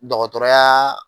Dɔgɔtɔrɔyaa